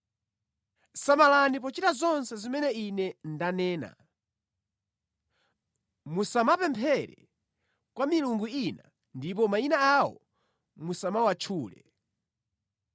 “Samalani pochita zonse zimene ine ndanena. Musamapemphere kwa milungu ina ndipo mayina awo musamawatchule.